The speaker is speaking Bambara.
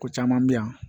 Ko caman bɛ yan